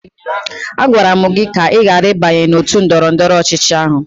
Agwara m gị ka ị ghara ịbanye n'òtù ndọrọndọrọ ọchịchị ahụ!